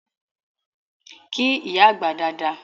Kí ìyá àgbà dada!